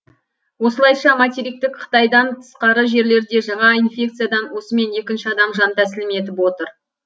осылайша материктік қытайдан тысқары жерлерде жаңа инфекциядан осымен екінші адам жантәсілім етіп отыр